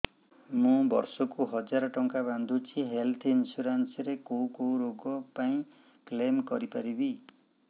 ମୁଁ ବର୍ଷ କୁ ହଜାର ଟଙ୍କା ବାନ୍ଧୁଛି ହେଲ୍ଥ ଇନ୍ସୁରାନ୍ସ ରେ କୋଉ କୋଉ ରୋଗ ପାଇଁ କ୍ଳେମ କରିପାରିବି